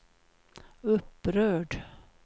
upprörd